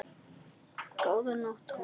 Góða nótt, Thomas